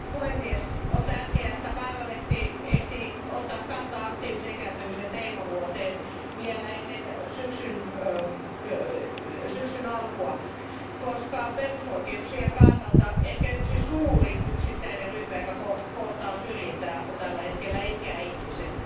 Arvoisa puhemies, on tärkeää, että parlamentti ehti ottaa kantaa aktiivisen ikääntymisen teemavuoteen vielä ennen syksyn alkua, koska perusoikeuksien kannalta ehkä suurin yksittäinen ryhmä, joka kohtaa syrjintää, on tällä hetkellä ikäihmiset.